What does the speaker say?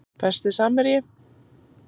Besti samherji?